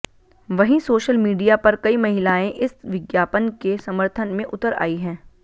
वहीं social media पर कई महिलाएं इस विज्ञापन के समर्थन में उतर आई है